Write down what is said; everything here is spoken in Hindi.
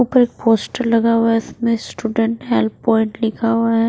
ऊपर एक पोस्टर लगा हुआ है इसमें स्टूडेंट हेल्प पॉइंट लिखा हुआ है।